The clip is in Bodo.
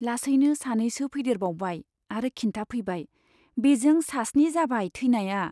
लासैनो सानैसो फैदेरबावबाय आरो खिन्थाफैबाय, बेजों सास्नि जाबाय थैनाया।